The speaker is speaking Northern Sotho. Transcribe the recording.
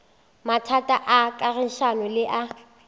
mathata a kagišano le a